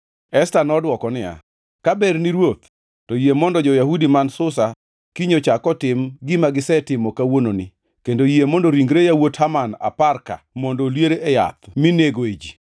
Esta nodwoko niya, “Ka berni ruoth, to yie mondo jo-Yahudi man Susa kiny ochak otim gima gisetimo kawuononi kendo yie mondo ringre yawuot Haman apar-ka mondo olier e yath minegoe ji.”